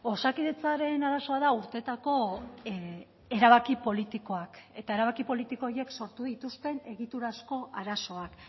osakidetzaren arazoa da urteetako erabaki politikoak eta erabaki politiko horiek sortu dituzten egiturazko arazoak